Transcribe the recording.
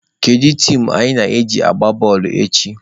Kedu tim anyị na ha ga-agba bọọlụ echi?